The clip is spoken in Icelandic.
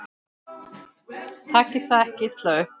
Takið það ekki illa upp.